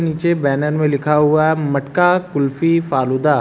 पीछे बैनर में लिखा हुआ है मटका कुल्फी फालूदा।